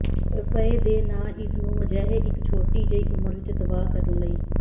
ਰੁਪਏ ਦੇ ਨਾ ਇਸ ਨੂੰ ਅਜਿਹੇ ਇੱਕ ਛੋਟੀ ਜਿਹੀ ਉਮਰ ਵਿੱਚ ਤਬਾਹ ਕਰਨ ਲਈ